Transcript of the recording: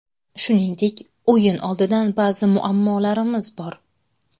Shuningdek, o‘yin oldidan ba’zi muammolarimiz bor.